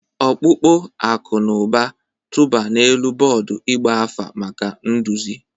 Ọkpụkpọ akụ na ụba, tụba n'elu bọọdụ ịgba afa maka nduzi.